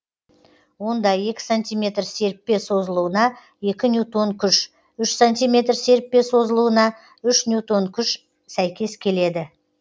онда екі сантиметр серіппе созылуына екі ньютон күш үш сантиметр серіппе созылуына үш ньютон күш сәйкес келеді